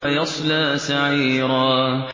وَيَصْلَىٰ سَعِيرًا